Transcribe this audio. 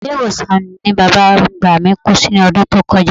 Ilé-ìwòsàn ni bàbá àgbà mí kú sí lọ́dún tó kọjá